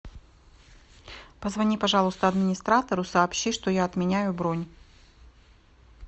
позвони пожалуйста администратору сообщи что я отменяю бронь